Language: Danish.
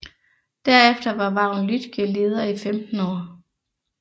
Derefter var Vagn Lüttge leder i 15 år